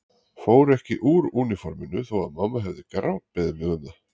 Fór ekki úr úniforminu þó að mamma hefði grátbeðið mig um það.